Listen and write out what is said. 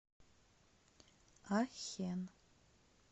ахен